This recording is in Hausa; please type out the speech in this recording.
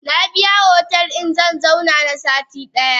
Nabiya otel din zanzauna na sati daya.